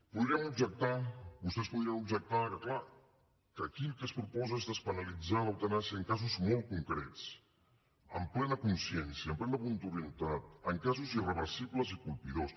podríem objectar vostès podrien objectar que clar que aquí el que es proposa és despenalitzar l’eutanàsia en casos molt concrets amb plena consciencia amb plena voluntarietat en casos irreversibles i colpidors